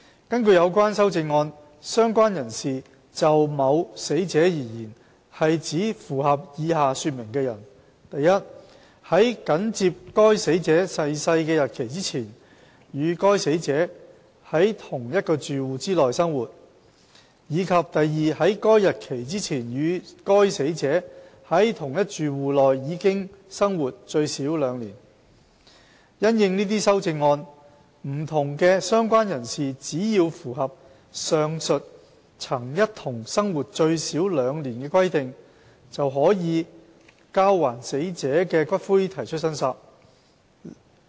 根據有關修正案，"相關人士"就某死者而言，是指符合以下說明的人： i 在緊接該死者逝世的日期前，與該死者在同一住戶內生活；及在該日期前，與該死者在同一住戶內已生活最少兩年；因應這些修正案，不同的"相關人士"只要符合上述曾一同生活最少兩年的規定，便可就交還死者的骨灰提出申索。